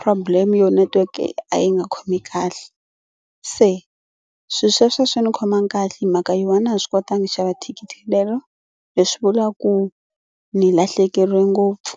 problem yo netiweke a yi nga khomi kahle se swilo sweswo swi ni khomangi kahle hi mhaka yona a na ha swi kotangi xava thikithi rero leswi vulaka ku ni lahlekeriwe ngopfu.